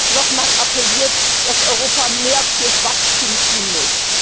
Sie haben nochmals dafür appelliert, dass Europa mehr für Wachstum tun muss.